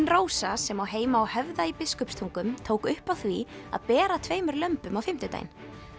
Rósa sem á heima á Höfða í Biskupstungum tók upp á því að bera tveimur lömbum á fimmtudaginn